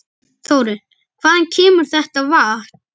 Þórir: Hvaðan kemur þetta vatn?